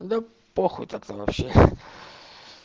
да похуй тогда вообще